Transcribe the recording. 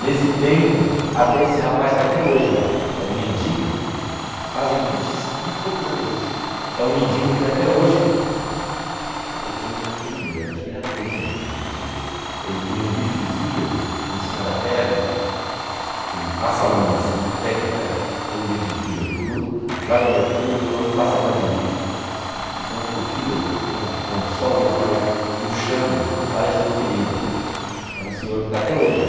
Nesse tempo, até esse rapaz está até hoje lá, é um mendigo, fazem vinte e... vinte e poucos anos isso, é um mendigo que até hoje, eu chamo de atender, acho que ele atende na Rua Direita, ele punha um bife de fígado em cima da perna, ele passa a unha assim, a técnica é põe um bife de fígado cru, joga mercúrio, cromo e passa vaselina, então o fígado com com o sol ele vai murchando, parece uma ferida, é um senhor que está até hoje lá.